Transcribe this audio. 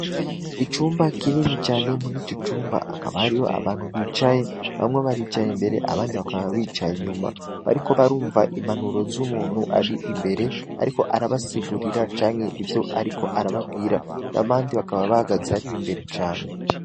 Icumba kinini cane muri ico cumba hakaba harimwo abantu bicaye, bamwe baricaye imbere abandi bakaba bicaye inyuma, bariko barumva impanuro z'umuntu ari imbere, ariko arabasigurira canke ivyo ariko arababwira, hama abandi bakaba bahagaze hariya imbere cane.